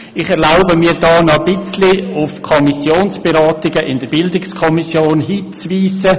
Ich erlaube mir, hier noch ein wenig auf die Beratungen in der BiK einzugehen.